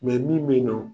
min bɛ yen nɔ